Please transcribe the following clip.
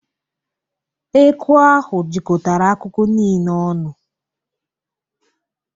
Eku ahụ jikọtara akụkụ niile ọnụ.